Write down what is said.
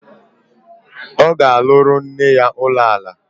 Ọ ga-arụrụ nne ya ụlọala